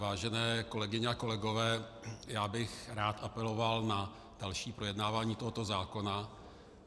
Vážené kolegyně a kolegové, já bych rád apeloval na další projednávání tohoto zákona.